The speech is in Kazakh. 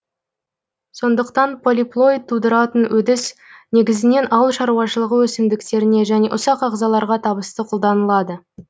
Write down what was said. сондықтан полиплоид тудыратын өдіс негізінен ауыл шаруашылығы өсімдіктеріне және ұсақ ағзаларға табысты қолданылады